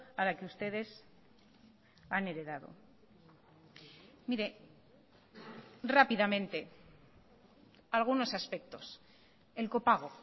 a la que ustedes han heredado mire rápidamente algunos aspectos el copago